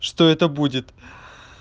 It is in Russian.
что это будет